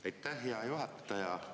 Aitäh, hea juhataja!